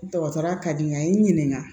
Dɔgɔtɔrɔya ka di n ye a ye n ɲininka